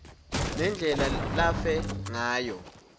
nendlela lafe ngayo